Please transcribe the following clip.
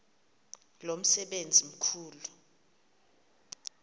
lo msebenzi mkhulu